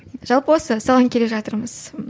жалпы осы соған келе жатырмыз